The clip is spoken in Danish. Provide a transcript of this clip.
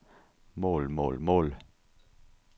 mål mål mål